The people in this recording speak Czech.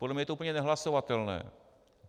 Podle mě je to úplně nehlasovatelné.